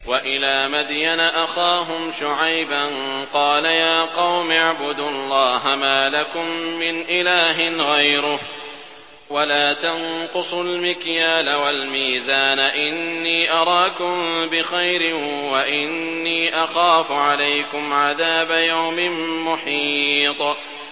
۞ وَإِلَىٰ مَدْيَنَ أَخَاهُمْ شُعَيْبًا ۚ قَالَ يَا قَوْمِ اعْبُدُوا اللَّهَ مَا لَكُم مِّنْ إِلَٰهٍ غَيْرُهُ ۖ وَلَا تَنقُصُوا الْمِكْيَالَ وَالْمِيزَانَ ۚ إِنِّي أَرَاكُم بِخَيْرٍ وَإِنِّي أَخَافُ عَلَيْكُمْ عَذَابَ يَوْمٍ مُّحِيطٍ